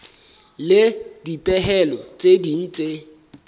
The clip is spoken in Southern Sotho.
le dipehelo tse ding tse